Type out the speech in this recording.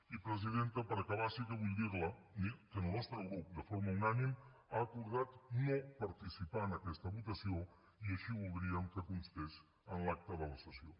i presidenta per acabar sí que vull dir li que el nostre grup de forma unànime ha acordat no participar en aquesta votació i així voldríem que constés en l’acta de la sessió